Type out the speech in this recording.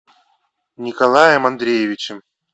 николаем андреевичем